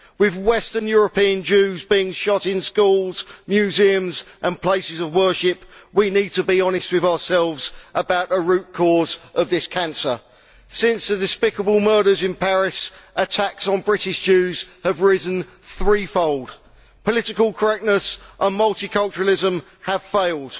With Western European Jews being shot in schools, museums and places of worship, we need to be honest with ourselves about the root cause of this cancer. Since the despicable murders in Paris, attacks on British Jews have risen threefold. Political correctness and multiculturalism have failed.